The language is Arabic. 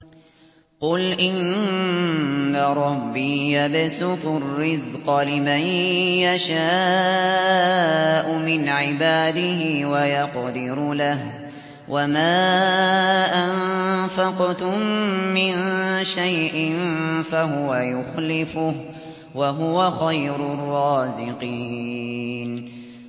قُلْ إِنَّ رَبِّي يَبْسُطُ الرِّزْقَ لِمَن يَشَاءُ مِنْ عِبَادِهِ وَيَقْدِرُ لَهُ ۚ وَمَا أَنفَقْتُم مِّن شَيْءٍ فَهُوَ يُخْلِفُهُ ۖ وَهُوَ خَيْرُ الرَّازِقِينَ